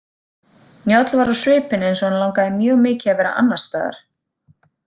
Njáll var á svipinn eins og hann langaði mjög mikið að vera annarstaðar.